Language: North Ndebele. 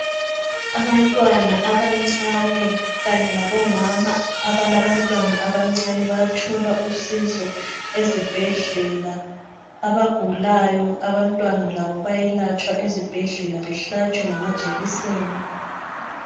Abantwana abancane kanye labomama abalabantwana abancane, bayathola usizo ezibhedlela. Abagulayo abantwana labo bayalatsha ezibhedlela behlatshwe ngamajekiseni.